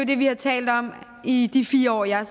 det vi har talt om i de fire år jeg har